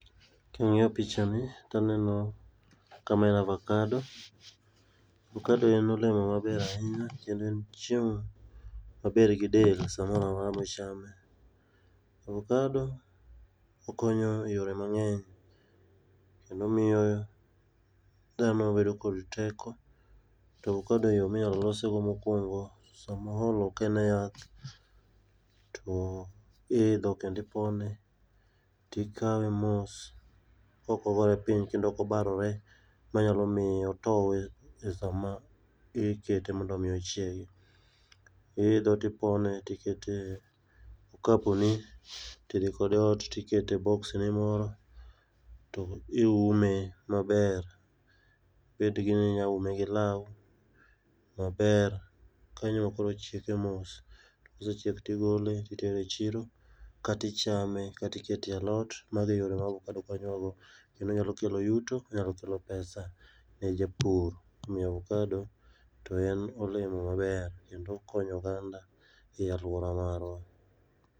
kang'iyo picha ni taneno ka ma en avocado avocado en olemo maber ahinya kendo en chiem maber gidel samoramora michame avocado okonyo e yore mangeny kendo omiyo dhano bedo kod teko tokadeyoo minyalosego mokwongo sama oolo kaen e yath to iidho kendo ipone tikawe mos kokogore piny kendo kokobarore manyalo miyo otou sama ikete mondo miochiegi iidho tipone tikete okapu ni tidhi kode eot tikete e box ni moro tiume maber betni inyaume gi lau maber kanyo e ma koro ochieke mos kosechiek tigole titere e chiro katichame katikete alot mage yore ma avocado konyowago kendo onyalokelo yuto onyalokelo pesa ne japur omiyo avocado toen olemo maber kendo okonyo oganda e alwora marwa